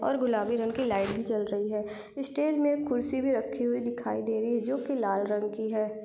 और गुलाबी रग की लाईट भी जल रही है इस इ स्टेज मे खुर्ची भी रखी हुई दिखाई दे रही जो कि लाल रग की है।